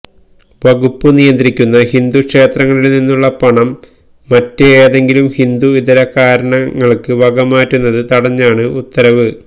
വകുപ്പ് നിയന്ത്രിക്കുന്ന ഹിന്ദു ക്ഷേത്രങ്ങളില്നിന്നുള്ള പണം മറ്റ് ഏതെങ്കിലും ഹിന്ദു ഇതര കാരണങ്ങള്ക്ക് വകമാറ്റുന്നത് തടഞ്ഞാണ് ഉത്തരവ്